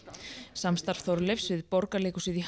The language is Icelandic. samstarf Þorleifs við Borgarleikhúsið í